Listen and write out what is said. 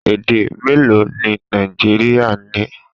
Èdè méèló ni Nàìjíríà ní?